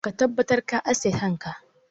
Ka tabbatar ka aske kanka!